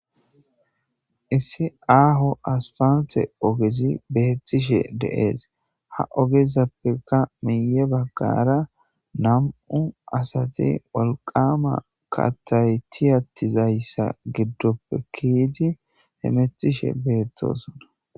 Issi aho aspalte ogezi betishe dee's ha ogezappeka miye bagare na'mu asati wolqama kathayi keyizayisa gidoppe kiyidi hemetish betosona